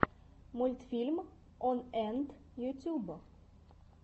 мультфильм он энт ютьюб